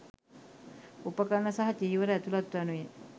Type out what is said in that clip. උපකරණ සහ චීවර ඇතුළත් වනුයේ